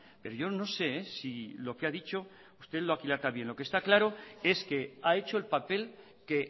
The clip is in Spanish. pero yo no sé si lo que ha dicho usted lo aquilata bien lo que está claro es que ha hecho el papel que